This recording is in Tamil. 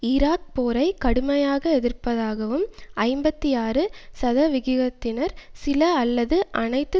ஈராக் போரை கடுமையாக எதிர்ப்பதாகவும் ஐம்பத்தி ஆறு சதவிகிதத்தினர் சில அல்லது அனைத்து